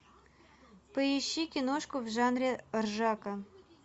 поищи киношку в жанре ржака